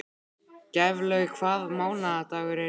Gæflaug, hvaða mánaðardagur er í dag?